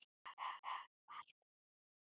Hörfar frá henni.